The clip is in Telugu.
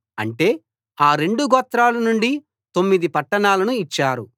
అంటే ఆ రెండు గోత్రాల నుండి తొమ్మిది పట్టణాలనూ ఇచ్చారు